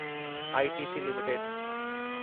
ITC limited